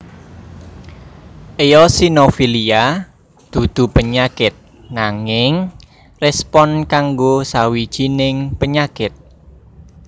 Eosinofilia dudu penyakit nanging respon kanggo sawijining penyakit